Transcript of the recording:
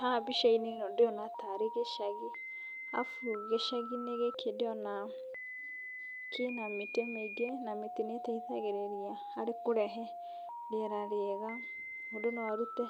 Haha mbica-inĩ ĩno ndĩrona ta arĩ gĩcagi arabu gĩcagi-inĩ gĩkĩ ndĩrona kĩna mĩtĩ mĩingĩ na mĩtĩ nĩ ĩteithagĩrĩria harĩ kũrehe rĩera rĩega. Mũndũ no arũte